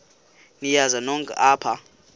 niyazi nonk apha